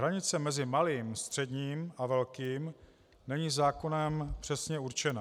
Hranice mezi malým, středním a velkým není zákonem přesně určena.